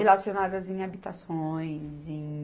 Relacionadas em habitações, em...